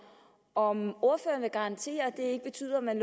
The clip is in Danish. om ordføreren vil garantere at det ikke betyder at man